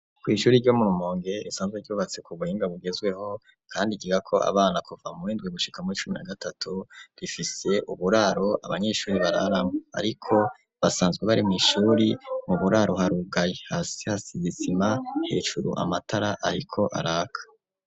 Kw'ishuri ryo mu Rumonge isanzwe ryubatse kubuhinga bugezweho kandi ryigira ko abana kuva muwindwi gushika muwicumi na gatatu rifise uburaro abanyeshuri bararamwo ariko basanzwe bari mwishuri mu buraro haruga hasi hasize isima hejuru amatara ariko araka.